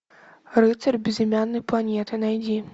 рыцарь безымянной планеты найди